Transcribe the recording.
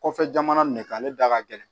Kɔfɛ jamana ne kan ale da ka gɛlɛn